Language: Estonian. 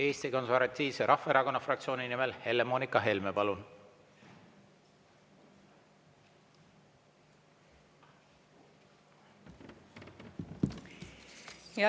Eesti Konservatiivse Rahvaerakonna fraktsiooni nimel Helle-Moonika Helme, palun!